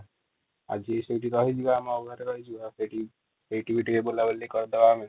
ଆଜି ସେଇଠି ରହିଯିବା ଆମ ଘରେ ରହିଯିବା ସେଇଠି ସେଇଠି ବି ଟିକେ ବୁଲା ବୁଲି କରିଦେବା ଆମେ |